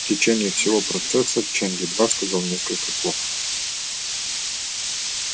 в течение всего процесса чен едва сказал несколько слов